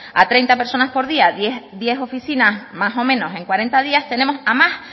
a treinta personas por día diez oficinas en cuarenta días tenemos a más